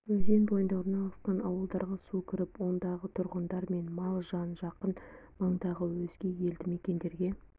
өзен бойында орналасқан ауылдарға су кіріп ондағы тұрғындар мен мал-жан жақын маңдағы өзге елді мекендерге